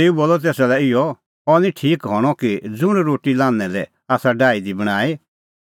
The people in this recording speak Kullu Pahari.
तेऊ बोलअ तेसा लै इहअ अह निं ठीक हणअ कि ज़ुंण रोटी लान्हैं लै आसा डाही दी बणांईं